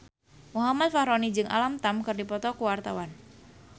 Muhammad Fachroni jeung Alam Tam keur dipoto ku wartawan